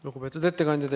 Lugupeetud ettekandja!